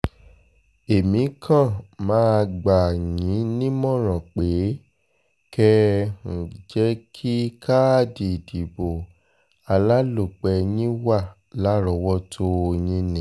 èmi kan máa gbà um yín nímọ̀ràn pé kẹ́ um ẹ jẹ́ kí káàdì ìdìbò alálòpẹ́ yín wà lárọ̀ọ́wọ́tó yín ni